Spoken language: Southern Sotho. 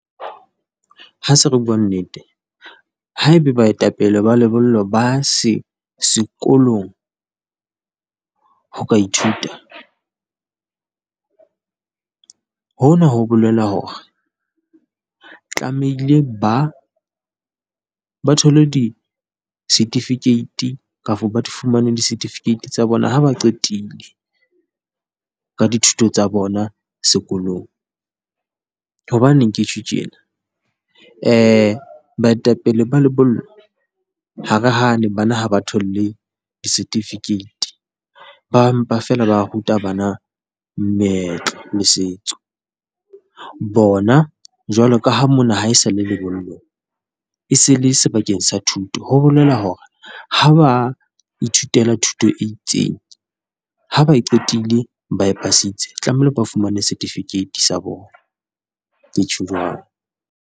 Ha se re bua nnete, haebe baetapele ba lebollo ba sekolong ho ka ithuta, hona ho bolela hore, tlamehile ba, ba thole di-certificate kafa ba fumane di-certificate tsa bona ha ba qetile ka dithuto tsa bona sekolong. Hobaneng ke tjho tjena? Baetapele ba lebollo, ha re hane bana ha ba thole di-certificate, ba mpa feela ba ruta bana meetlo le setso, bona jwalo ka ha mona ha esale lebollong e se le sebakeng sa thuto, ho bolela hore ha ba ithutela thuto e itseng ha ba e qetile ba pasitse tlamehile ba fumane setifikeiti sa bona. Ke tjho jwalo.